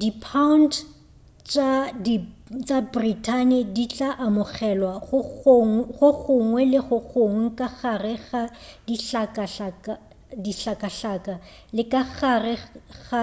dipound tša britain di tla amogelwa go gongwe le gongwe ka gare ga dihlakahlaka le ka gare ga